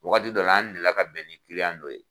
Wagati dɔ la an deli la ka bɛn ni dɔ ye.